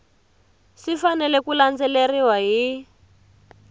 swi fanele ku landzeleriwa hi